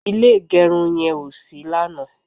ilé igerun yen o sí lanaa